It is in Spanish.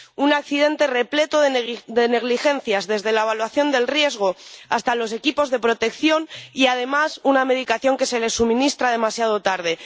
Un accidente repleto de negligencias desde la evaluación del riesgo hasta los equipos de protección y además una medicación que se les suministra demasiado tarde.